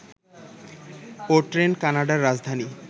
O-Train কানাডার রাজধানী